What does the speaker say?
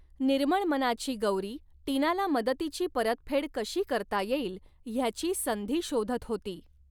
निर्मळ मनाची गौरी टीनाला मदतीची परतफेड कशी करता येईल हयाची संधी शोधत होती.